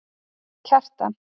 Kjartan